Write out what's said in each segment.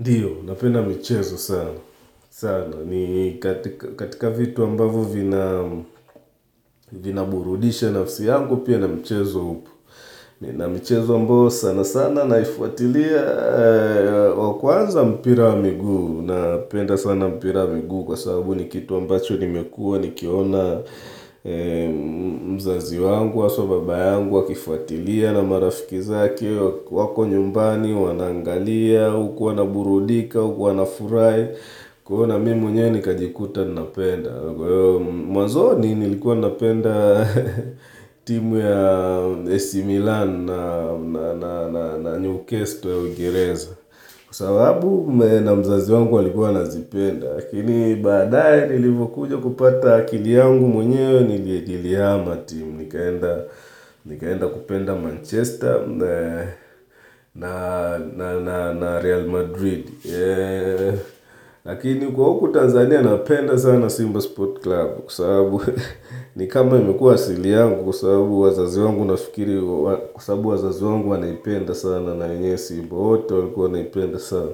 Ndiyo, napenda michezo sana, sana, ni katika vitu ambavo vina, vina burudisha nafsi yangu pia na michezo upo Nina mchezo ambayo sana sana naifuatilia, wakwanza mpira wa miguu, napenda sana mpira wa miguu kwa sababu ni kitu ambacho nimekua nikiona mzazi wangu, haswa baba yangu, wakifuatilia na marafiki zake, wako nyumbani, wanaangalia, huku wana burudika huku wanafurahi, kwa hivo na mi mwenye ni kajikuta ninapenda. Mwanzoni nilikuwa ninapenda timu ya AC Milan na Newcastle ya Ung'ingereza. Kwa sababu na mzazi wangu alikuwa anazipenda. Lakini badaye nilivokujo kupata akili yangu mwenye ni nilihama timu. Nikaenda kupenda Manchester na Real Madrid. Lakini kwa huku Tanzania napenda sana Simba Sport Club Kwa sababu ni kama imekuwa asili yangu Kwa sababu wazazi wangu nafikiri, kwa sababu wazazi wangu wanaipenda sana na wenyewe Simba wote walikuwa wanaipenda sana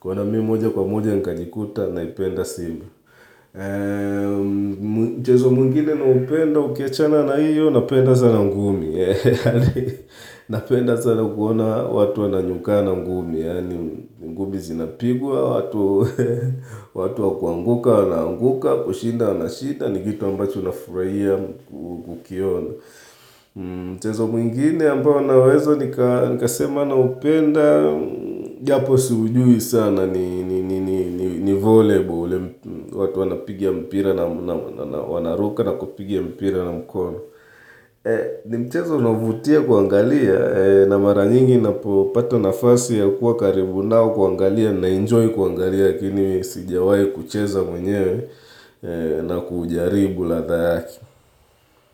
kwa hiyo na mimi moja kwa moja nkajikuta naipenda Simba Mchezo mwngine naupenda ukiachana na hiyo napenda sana ngumi Napenda sana kuona watu wananyukana ngumi ngumi zinapigwa, watu wakuanguka wanaanguka, kushinda wana shinda ni kitu ambacho nafurahia kukiona Mchezo mwingine ambao naweza nika sema na upenda Japo siujui sana ni volleyball watu wanapiga mpira na wanaruka na kupiga mpira na mkono Nimchezo unaovutia kuangalia na mara nyingi napopata nafasi ya kuwa karibu nao kuangalia na enjoy kuangalia lakini sijawai kucheza mwenyewe na kuujaribu ladha yake.